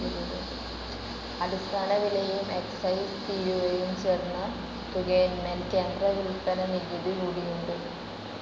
അടിസ്ഥാനവിലയും excise തീരുവയും ചേർന്ന തുകയിന്മേൽ കേന്ദ്ര വിൽപ്പനനികുതികൂടിയുണ്ട്.